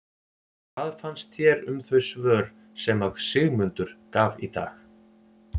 Hvað fannst þér um þau svör sem að Sigmundur gaf í dag?